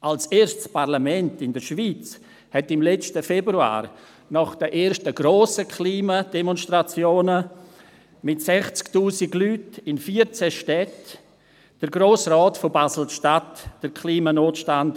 Nach den grossen Klima-Demonstrationen mit 60 000 Leuten in 14 Städten erklärte der Grosse Rat des Kantons Basel-Stadt als erstes Parlament der Schweiz den Klimanotstand.